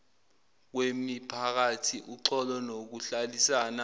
kwemiphakathi uxolo nokuhlalisana